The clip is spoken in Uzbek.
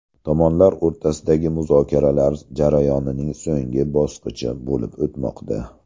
Tomonlar o‘rtasidagi muzokaralar jarayonining so‘nggi bosqichi bo‘lib o‘tmoqda.